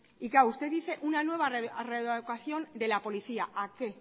y claro usted dice una nueva readecuación de la policía a qué